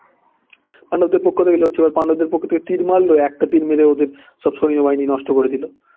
পাণ্ডবদের পক্ষ থেকে লড়ছে এবার পাণ্ডবদের পক্ষ থেকে তীর মারলো একটা তীর মেরে ওদের সো সৈন্যবাহিনী নষ্ট করে দিলো